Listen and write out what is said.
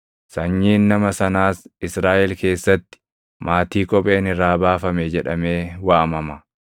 Sanyiin nama sanaas Israaʼel keessatti, “Maatii kopheen irraa baafame” jedhamee waamama.